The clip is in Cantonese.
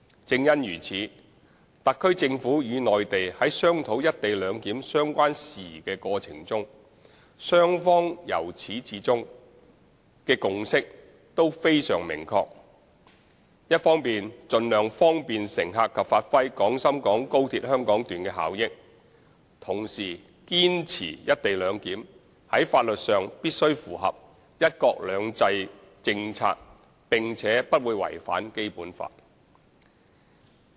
正因如此，特區政府與內地在商討"一地兩檢"相關事宜的過程中，雙方由始至終的共識都非常明確：一方面盡量方便乘客及發揮廣深港高鐵香港段的效益，同時堅持"一地兩檢"在法律上必須符合"一國兩制"政策，並且不會違反《基本法》。